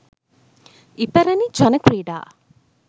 ඉපැරණි ජන ක්‍රීඩා